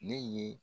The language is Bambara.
Ne ye